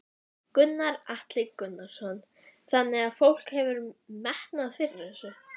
Gunnar Atli Gunnarsson: Þannig að fólk hefur metnað fyrir þessu?